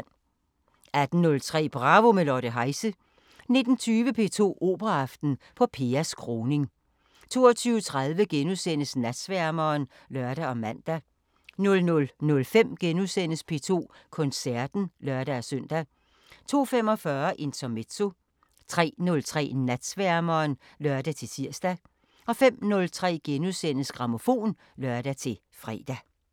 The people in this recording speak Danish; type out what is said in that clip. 18:03: Bravo – med Lotte Heise 19:20: P2 Operaaften: Poppeas Kroning 22:30: Natsværmeren *(lør og man) 00:05: P2 Koncerten *(lør-søn) 02:45: Intermezzo 03:03: Natsværmeren (lør-tir) 05:03: Grammofon *(lør-fre)